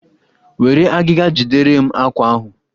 Were agịga jidere m àkwá ahụ!